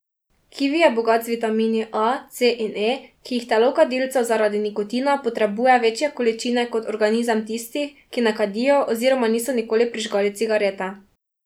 Kivi je bogat z vitamini A, C in E, ki jih telo kadilcev zaradi nikotina potrebuje večje količine kot organizem tistih, ki ne kadijo oziroma niso nikoli prižgali cigarete.